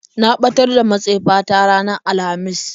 Na ɓatar da matsefa ta ranar alhamis.